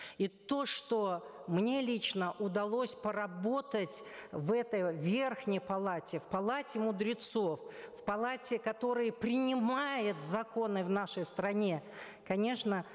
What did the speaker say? и то что мне лично удалось поработать в этой верхней палате в палате мудрецов в палате которая принимает законы в нашей стране конечно